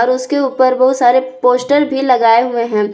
उसके ऊपर बहुत सारे पोस्टर भी लगाए हुए हैं।